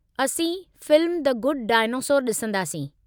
असीं film the Good Dinosaur ॾिसंदासीं।